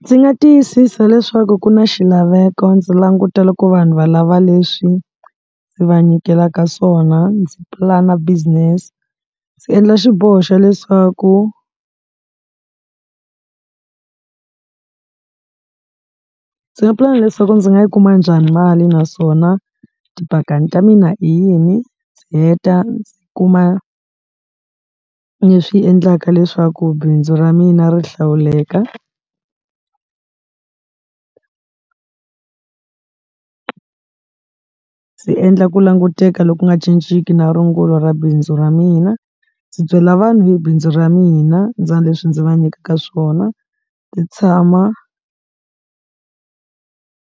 Ndzi nga tiyisisa leswaku ku na xilaveko ndzi languta loko vanhu valava leswi ndzi va nyikelaka swona, ndzi plan-a business, ndzi endla xiboho xa leswaku. Ndzi nga pulani leswaku ndzi nga yi kuma njhani mali naswona tipakani ta mina i yini, ndzi heta ndzi kuma leswi endlaka leswaku bindzu ra mina mina ri hlawuleka ndzi endla ku languteka loku nga cinciki na rungula ra bindzu ra mina, ndzi byela vanhu hi bindzu ra mina, ra leswi ndzi va nyikaka swona. Ndzi tshama